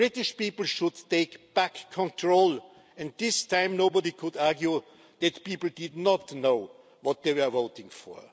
The British people should take back control and this time nobody could argue that the people did not know what they were voting